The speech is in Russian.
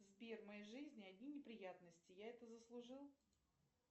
сбер в моей жизни одни неприятности я это заслужил